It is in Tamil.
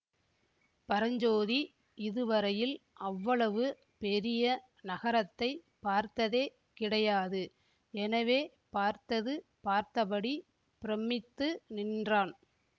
பரஞ்சோதி இதுவரையில் அவ்வளவு பெரிய நகரத்தைப் பார்த்ததே கிடையாது எனவே பார்த்தது பார்த்தபடி பிரமித்து நின்றான்